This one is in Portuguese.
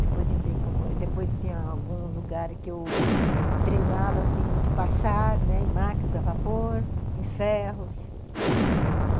Depois entrei com, depois tinha algum lugar que eu treinava assim de passar, em máquinas a vapor, em ferros.